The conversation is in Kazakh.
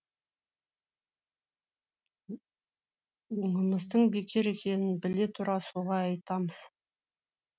онымыздың бекер екенін біле тұра солай айтамыз